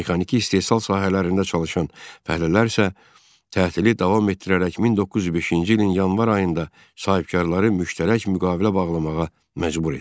Mexaniki istehsal sahələrində çalışan fəhlələr isə tətili davam etdirərək 1905-ci ilin yanvar ayında sahibkarları müştərək müqavilə bağlamağa məcbur etdilər.